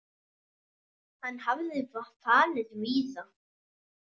Hann hafði farið víða.